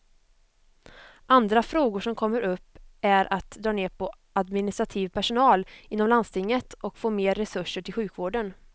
Andra frågor som kommer upp är att dra ner på administrativ personal inom landstinget och få mer resurser till sjukvården.